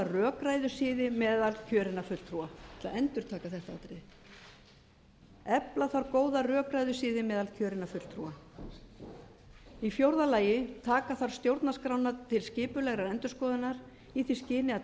rökræðusiði meðal kjörinna fulltrúa ég ætla að endurtaka þetta atriði efla þarf góða rökræðusiði meðal kjörinna fulltrúa fjórða taka þarf stjórnarskrána til skipulegrar endurskoðunar í því skyni að